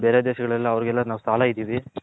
ಬೇರೆ ದೇಶಗಳೆಲ್ಲ ಅವರಿಗೆಲ್ಲ ಇದಿವಿ.